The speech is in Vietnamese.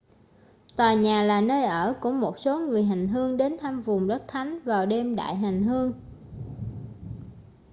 tòa nhà là nơi ở của một số người hành hương đến thăm vùng đất thánh vào đêm đại hành hương